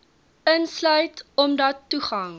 insluit omdat toegang